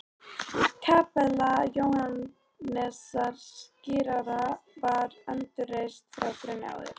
Kapella Jóhannesar skírara var endurreist frá grunni árið